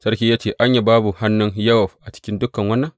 Sarki ya ce, Anya, babu hannun Yowab a cikin dukan wannan?